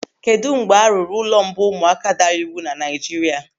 Kedụ mgbe arụrụ ụlọ ụmụaka daara iwu na Naijiria?